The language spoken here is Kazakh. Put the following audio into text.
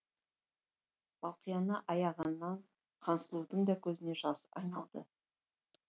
балқияны аяғаннан хансұлудың да көзіне жас айналды